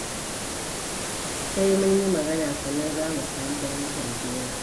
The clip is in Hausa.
Sai mun yi magana, sannan za mu sami fahimtar juna.